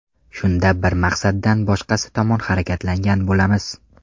Shunda bir maqsaddan boshqasi tomon harakatlangan bo‘lamiz.